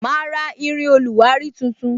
Ma ra irin oluwari tuntun